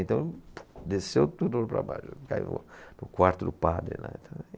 Então, desceu tudo para baixo, caiu, para o quarto do padre, né.